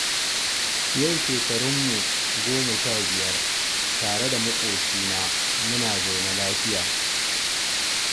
Yau shekarunmu goma sha biyar tare da maƙocina, muna zaune lafiya.